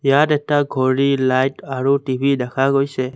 ইয়াত এটা ঘড়ী লাইট আৰু টি_ভি দেখা গৈছে।